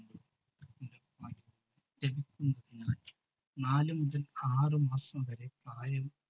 നാല് മുതൽ ആറ് മാസം വരെ പ്രായം